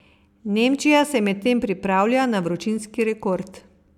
Nemčija se medtem pripravlja na vročinski rekord.